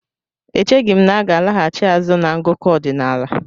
Echeghi m na aga alaghachi azụ na ngụkọ ọdinaala.